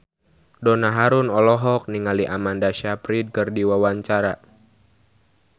Donna Harun olohok ningali Amanda Sayfried keur diwawancara